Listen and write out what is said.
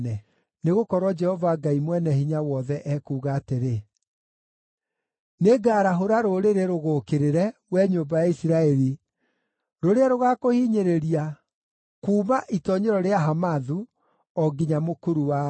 Nĩgũkorwo Jehova Ngai Mwene-Hinya-Wothe ekuuga atĩrĩ, “Nĩngarahũra rũrĩrĩ rũgũũkĩrĩre, wee nyũmba ya Isiraeli, rũrĩa rũgakũhinyĩrĩria kuuma itoonyero rĩa Hamathu, o nginya mũkuru wa Araba.”